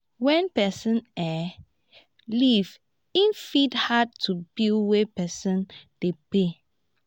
when person um leave e fit add to bill wey person dey pay